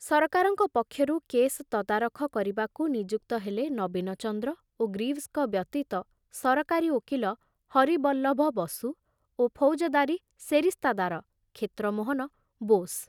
ସରକାରଙ୍କ ପକ୍ଷରୁ କେସ ତଦାରଖ କରିବାକୁ ନିଯୁକ୍ତ ହେଲେ ନବୀନଚନ୍ଦ୍ର ଓ ଗ୍ରୀଭସଙ୍କ ବ୍ୟତୀତ ସରକାରୀ ଓକିଲ ହରିବଲ୍ଲଭ ବସୁ ଓ ଫୌଜଦାରୀ ସେରିସ୍ତାଦାର କ୍ଷେତ୍ରମୋହନ ବୋଷ।